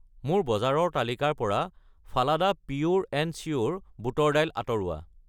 মোৰ বজাৰৰ তালিকাৰ পৰা ফালাডা পিয়োৰ এণ্ড চিয়োৰ বুটৰ দাইল আঁতৰোৱা।